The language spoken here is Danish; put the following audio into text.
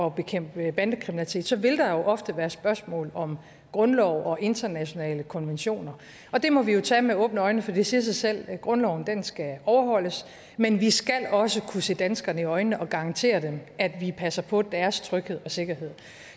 at bekæmpe bandekriminalitet så vil der jo ofte være spørgsmål om grundlov og internationale konventioner og det må vi jo tage med åbne øjne for det siger sig selv at grundloven skal overholdes men vi skal også kunne se danskerne i øjnene og garantere dem at vi passer på deres tryghed og sikkerhed